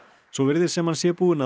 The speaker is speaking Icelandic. svo virðist sem hann sé búinn að